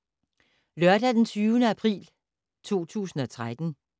Lørdag d. 20. april 2013